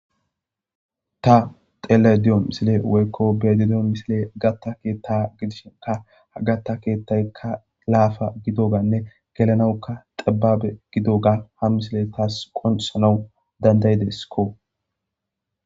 Ta xele diyo misile woykko bedi diyo misile gatta keetta gidishe ka gatta keettayka laafa gidoganne gelanawuka xibabe gidoga ha misile taas qonsanawu dandayideskko.